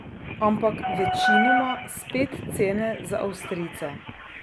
Ampak večinoma spet cene za avstrijce.